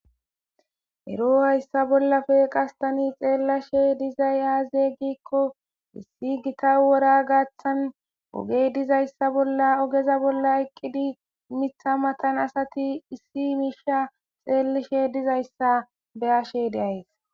Ero hayssa bollappe ta xelashshe diizay aze gikko issi giita wora gaththan ogey dizayssa ogeza bolla eqqidi miththa maatan asati issi mishsha xellashe dizayssa beashe de'aysi.